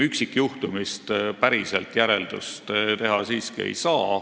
Üksikjuhtumist päriselt järeldust teha siiski ei saa.